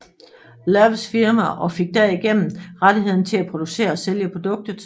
Lowes firma og fik derigennem rettighederne til at producere og sælge produktet